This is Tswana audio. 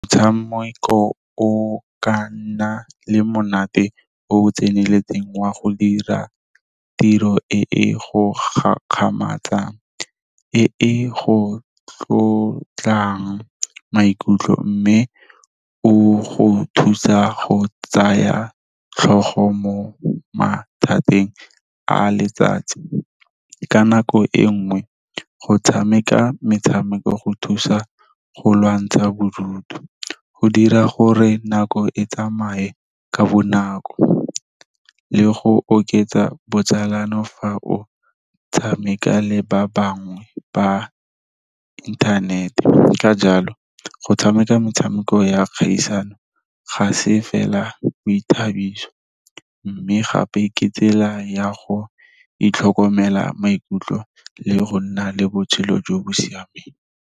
Motshameko o ka nna le monate o o tseneletseng wa go dira tiro e e go gakgamatsang, e e go tlotlang maikutlo mme o go thusa go tsaya tlhogo mo mathateng a letsatsi. Ka nako e nngwe, go tshameka metshameko go thusa go lwantsha bodutu, go dira gore nako e tsamaye ka bonako le go oketsa botsalano fa o tshameka le ba bangwe ba inthanete. Ka jalo go tshameka metshameko ya kgaisano ga se fela boithabiso mme gape ke tsela ya go itlhokomela maikutlo le go nna le botshelo jo bo siameng.